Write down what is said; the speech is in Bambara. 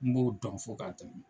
N b'o dɔn fo k'a tɛmɛ